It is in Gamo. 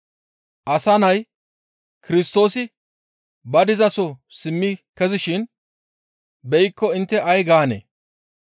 Asa Nay Kirstoosi ba dizaso simmi kezishin beykko intte ay gaanee?